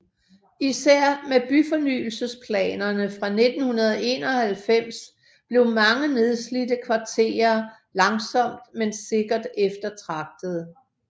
Især med byfornyelsesplanerne fra 1991 blev mange nedslidte kvarterer langsomt men sikkert eftertragtede